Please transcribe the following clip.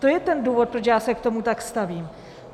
To je ten důvod, proč já se k tomu tak stavím.